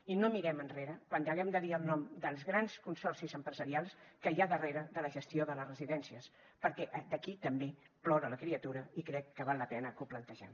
i no mirem enrere quan haguem de dir el nom dels grans consorcis empresarials que hi ha darrere de la gestió de les residències perquè d’aquí també plora la criatura i crec que val la pena que ho plantegem